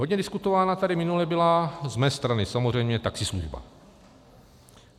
Hodně diskutována tady minule byla z mé strany samozřejmě taxislužba.